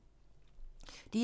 DR2